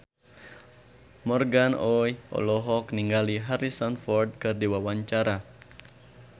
Morgan Oey olohok ningali Harrison Ford keur diwawancara